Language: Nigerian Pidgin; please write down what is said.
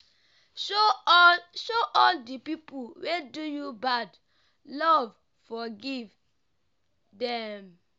show all show all di pipu wey do you bad love forgive dem.